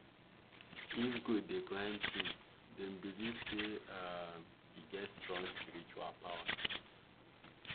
if goat dey climb tree dem believe say um e get strong spiritual power.